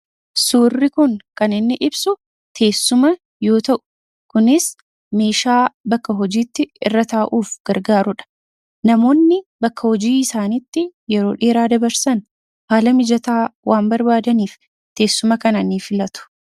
Suurri kun kan inni ibsu teessuma yoo ta'u, kunis meeshaa bakka hojiitti irra taa'uuf gargaarudha. Namoonni bakka hojii isaaniitti yeroo dheeraa dabarsan haala mijataa waan barbaadaniif teessuma kana ni filatu.